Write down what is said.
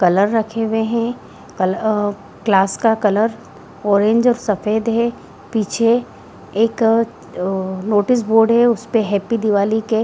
colour रखे हुए है अ क्लास का कलर ऑरेंज और सफ़ेद है पीछे एक नोटिस बोर्ड है उस पे हैप्पी दीवाली के --